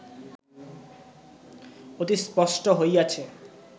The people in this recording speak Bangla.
অতি স্পষ্ট হইয়াছে